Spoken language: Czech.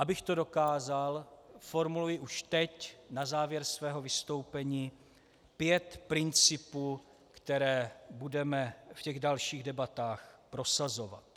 Abych to dokázal, formuluji už teď na závěr svého vystoupení pět principů, které budeme v těch dalších debatách prosazovat.